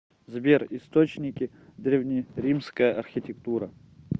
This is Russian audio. сбер источники древнеримская архитектура